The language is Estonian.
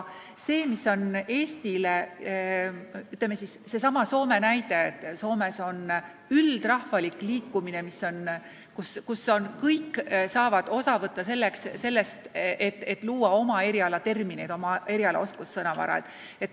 Mis puutub Soomesse, siis Soomes on üldrahvalik liikumine: kõik saavad osa võtta oma eriala terminite, oma eriala oskussõnavara loomisest.